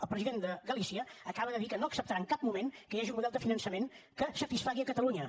el president de galícia acaba de dir que no acceptarà en cap moment que hi hagi un model de finançament que satisfaci catalunya